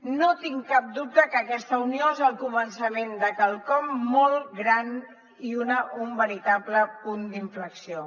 no tinc cap dubte que aquesta unió és el començament de quelcom molt gran i un veritable punt d’inflexió